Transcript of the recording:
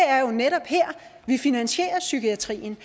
er jo netop her vi finansierer psykiatrien